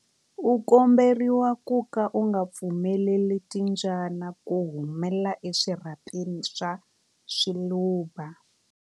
U komberiwa ku ka u nga pfumeleli timbyana ku humela eswirhapeni swa swiluva.